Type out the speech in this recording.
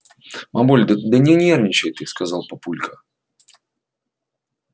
мамуль да да не нервничай ты сказал папулька